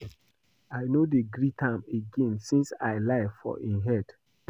I no dey greet am again since I lie for im head